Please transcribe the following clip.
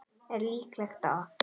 Er líklegt að